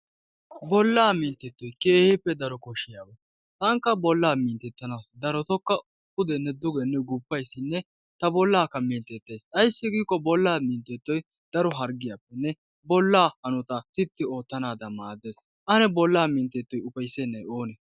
Bollaa minttettoy keehippe daro koshshiyaba. Tankka bolla mintettanawu darotokka pudenne dugenne gufayssinne ta bollaakka mintetettays ayssi giikko bollaa minttettoy daro harggiyappenne bollaa hanotaa tippi wottanaadan maaddees. Ane bollaa minttettoy ufayssenay oonee?